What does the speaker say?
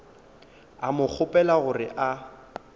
a mo kgopela gore a